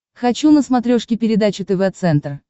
хочу на смотрешке передачу тв центр